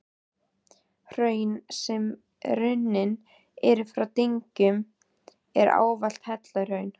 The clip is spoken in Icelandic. Hraun, sem runnin eru frá dyngjum, eru ávallt helluhraun.